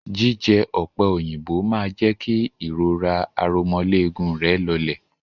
Jíjẹ ọ̀pẹ òyìnbó máa jẹ́ kí ìrora aromọléegun rẹ̀ lọlẹ̀.